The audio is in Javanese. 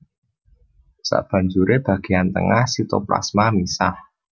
Sabanjuré bagéyan tengah sitoplasma misah